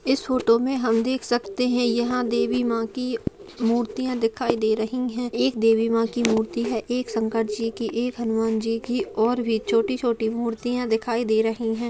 इस फोटो में हम देख सकते है यहाँ देवी माँ की मुर्तियाँ दिखाई दे रही है एक देवी माँ की मूर्ति है एक शंकर जी की एक हनुमान जी की और वे छोटी-छोटी मुर्तियाँ दिखाई दे रही है।